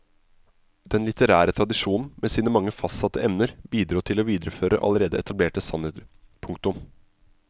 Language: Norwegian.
Den litterære tradisjonen med sine mange fastsatte emner bidro til å videreføre allerede etablerte sannheter. punktum